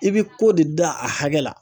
I bɛ ko de dan. a hakɛ la